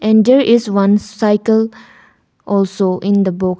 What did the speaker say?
And there is one cycle also in the book.